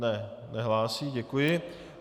Ne, nehlásí, děkuji.